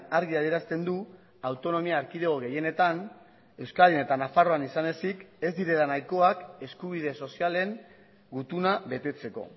argi adierazten du autonomia erkidego gehienetan euskadin eta nafarroan izan ezik ez direla nahikoak eskubide sozialen gutuna betetzeko